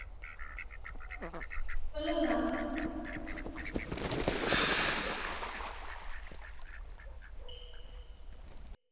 hello ah okay mam free தா mam இருகாங்க okay செஞ்சிடலம் ஒன்னும் பிரச்சனை இல்ல mam.